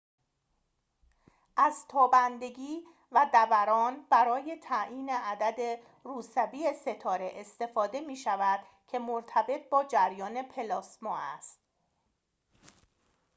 از تابندگی و دَوران برای تعیین عدد روسبی ستاره استفاده می‌شود که مرتبط با جریان پلاسما است